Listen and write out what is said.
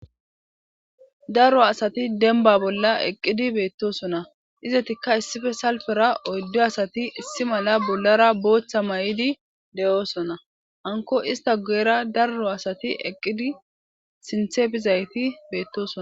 Darro asati denba bolla eqqidi beettosona izetikka issife salfera oyddo asati issi mala bollara booththa may'idi de'oosona anko ista go'era darro asati eqqidi sinthepizayti beettoson.